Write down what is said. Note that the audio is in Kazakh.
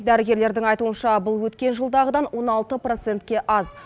дәрігерлердің айтуынша бұл өткен жылдағыдан он алты процентке аз